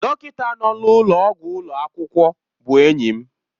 Dọkịta nọ n'ụlọọgwụ ụlọ akwụkwọ bụ enyi m.